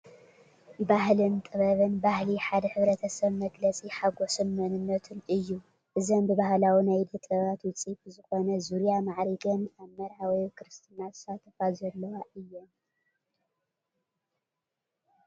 ባህልን ጥበብን፡- ባህሊ ሓደ ሕ/ሰብ መግለፂ ሓጎሱን መንነቱን እዩ፡፡ እዘን ብባህላዊ ናይ ኢደ ጥበባት ውፅኢት ብዝኾነ ዙርያ ማዕሪገን ኣብ መርዓ ወይ ኣብ ክርስትና ዝሳተፋ ዘለዋ እየን፡፡